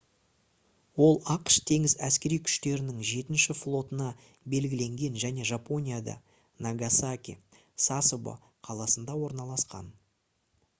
ол ақш теңіз әскери күштерінің жетінші флотына белгіленген және жапонияда нагасаки сасебо қаласында орналасқан